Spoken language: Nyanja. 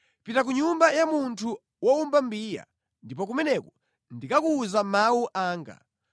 “Pita ku nyumba ya munthu wowumba mbiya, ndipo kumeneko ndikakuwuza mawu anga.”